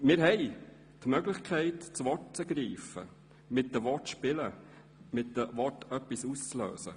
Wir haben die Möglichkeit, das Wort zu ergreifen, mit Worten zu spielen, mit Worten etwas auszulösen.